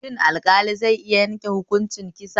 Shin alƙali zai iya yanke hukuncin kisa?